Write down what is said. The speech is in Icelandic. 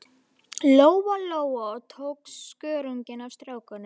Lóa-Lóa og tók skörunginn af stráknum.